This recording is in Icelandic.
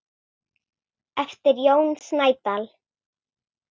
eftir Jón Snædal